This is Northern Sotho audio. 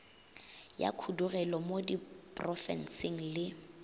ya khudugelo mo diprofenseng le